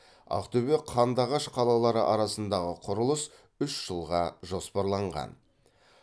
ақтөбе қандыағаш қалалары арасындағы құрылыс үш жылға жоспарланған